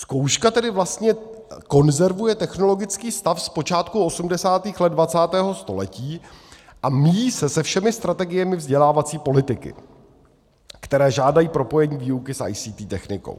Zkouška tedy vlastně konzervuje technologický stav z počátku 80. let 20. století a míjí se se všemi strategiemi vzdělávací politiky, které žádají propojení výuky s ICT technikou.